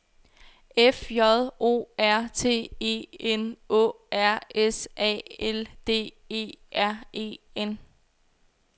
F J O R T E N Å R S A L D E R E N